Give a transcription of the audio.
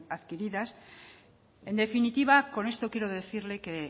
adquiridas en definitiva con esto quiero decirle que